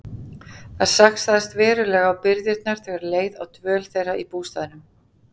Það saxaðist verulega á birgðirnar þegar leið á dvöl þeirra í bústaðnum.